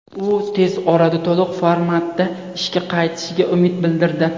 U tez orada to‘liq formatda ishga qaytishiga umid bildirdi.